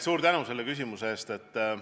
Suur tänu selle küsimuse eest!